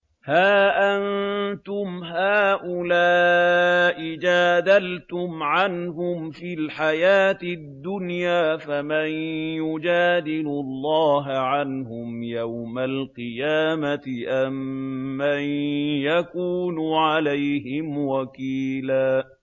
هَا أَنتُمْ هَٰؤُلَاءِ جَادَلْتُمْ عَنْهُمْ فِي الْحَيَاةِ الدُّنْيَا فَمَن يُجَادِلُ اللَّهَ عَنْهُمْ يَوْمَ الْقِيَامَةِ أَم مَّن يَكُونُ عَلَيْهِمْ وَكِيلًا